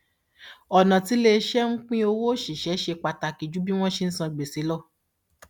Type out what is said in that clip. ọnà tí iléiṣẹ ń pín owó òṣìṣẹ ṣe pàtàkì ju bí wọn ṣe san gbèsè lọ